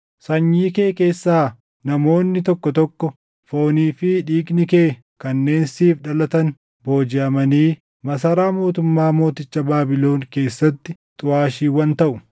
Sanyii kee keessaa namoonni tokko tokko, foonii fi dhiigni kee kanneen siif dhalatan boojiʼamanii masaraa mootummaa mooticha Baabilon keessatti xuʼaashiiwwan taʼu.”